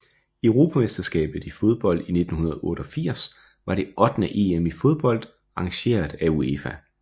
Europamesterskabet i fodbold 1988 var det ottende EM i fodbold arrangeret af UEFA